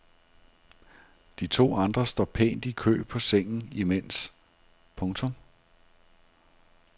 De to andre står pænt i kø på sengen imens. punktum